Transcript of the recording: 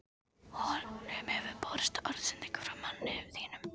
Honum hefur borist orðsending frá manni þínum.